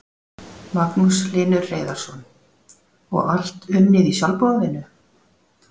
Magnús Hlynur Hreiðarsson: Og allt unnið í sjálfboðavinnu?